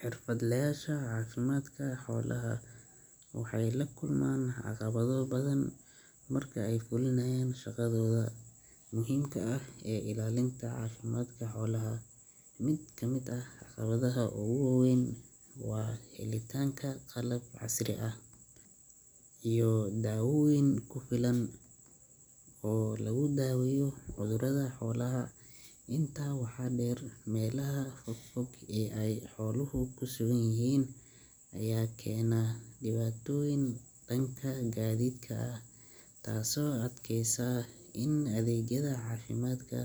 Xirfadlayaasha caafimaadka xoolaha waxay la kulmaan caqabado badan marka ay fulinayaan shaqadooda muhiimka ah ee ilaalinta caafimaadka xoolaha. Mid ka mid ah caqabadaha ugu waa weyn waa helitaanka qalab casri ah iyo dawooyin ku filan oo lagu daaweeyo cudurrada xoolaha. Intaa waxaa dheer, meelaha fog fog ee ay xooluhu ku sugan yihiin ayaa keena dhibaatooyin dhanka gaadiidka ah taasoo adkeysa in adeegyada caafimaadka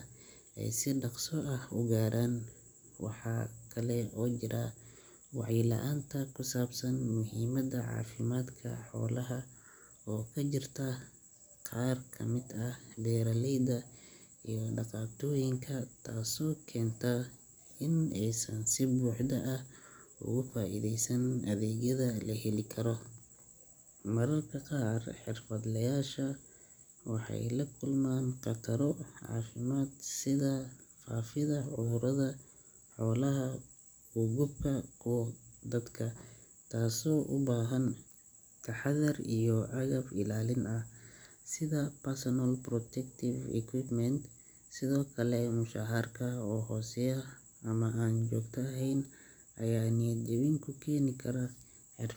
ay si dhakhso ah u gaaraan. Waxaa kale oo jira wacyi la’aan ku saabsan muhiimada caafimaadka xoolaha oo ka jirta qaar ka mid ah beeraleyda iyo dhaqatooyinka taasoo keenta in aysan si buuxda uga faa’iidaysan adeegyada la heli karo. Mararka qaar xirfadlayaashu waxay la kulmaan khataro caafimaad sida faafidda cudurrada xoolaha uga gudba kuwa dadka, taasoo u baahan taxadar iyo agab ilaalin ah sida personal protective equipment. Sidoo kale, mushaharka oo hooseeya ama aan joogto ahayn ayaa niyad jebin ku keeni kara xirfadlayaasha